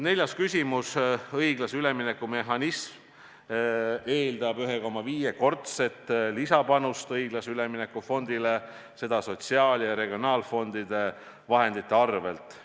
Neljas küsimus: "Õiglase ülemineku mehhanism eeldab 1,5-kordset lisapanust õiglase ülemineku fondile, seda sotsiaal- ja regionaalfondide vahendite arvelt.